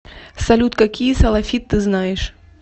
салют какие салафит ты знаешь